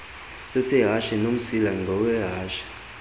sesehashe nomsila ngowehashe